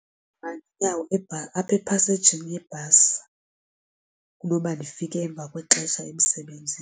Ndima ngenyawo apha epasejini yebhasi kunoba ndifike emva kwexesha emsebenzini.